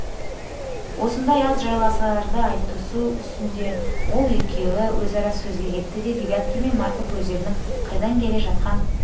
осындай аз жайларды айтысу үстінде ол екеуі өзара сөзге кетті де девяткин мен марков өздерінің қайдан келе жатқан